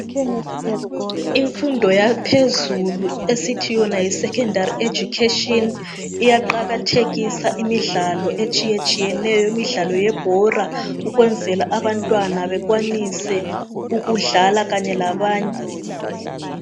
Imfundo yaphezelu esithi yona yi"Secondary Education "iyaqakathekisa imidlalo etshiyetshiyeneyo, imidlalo yebhola ukwenzela ukuthi abantwana bekwanise ukudlala kanye labanye.